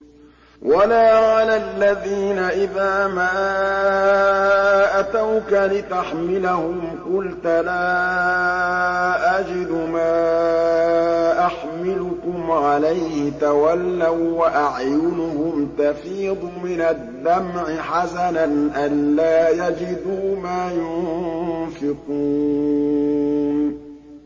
وَلَا عَلَى الَّذِينَ إِذَا مَا أَتَوْكَ لِتَحْمِلَهُمْ قُلْتَ لَا أَجِدُ مَا أَحْمِلُكُمْ عَلَيْهِ تَوَلَّوا وَّأَعْيُنُهُمْ تَفِيضُ مِنَ الدَّمْعِ حَزَنًا أَلَّا يَجِدُوا مَا يُنفِقُونَ